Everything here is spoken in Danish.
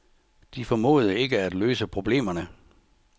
De formåede ikke at løse problemerne.